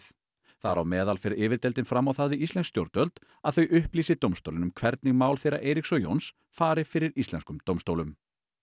þar á meðan fer fram á það við íslensk stjórnvöld að þau upplýsi dómstólinn um hvernig mál þeirra Eiríks og Jóns fari fyrir íslenskum dómstólum